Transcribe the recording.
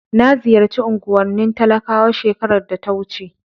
Na ziyarci unguwar talakawa shekarar da ta wuce.